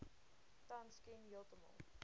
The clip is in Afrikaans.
tans ken heeltemal